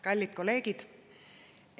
Kallid kolleegid!